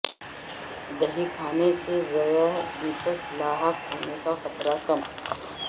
دہی کھانے سے ذیابیطس لا حق ہونے کا خطرہ کم